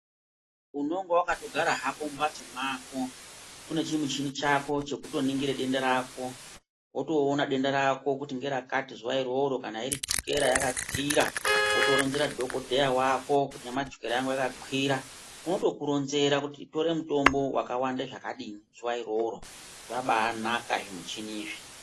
Unonga wakatogara hako mumhatso mwako unechimuchini chako chekutoningire denda rako wotoona denda rako kuti ngerakati zuwa iroro kana iri chokera yakakwira wotoronzera dhokodheya wako kuti nyamashi chokera yangu yakakwira, unotokuronzera kuti tore mutombo wakawanda zvakadini zuwa iroro, zvaba anaka zvimichini izvi.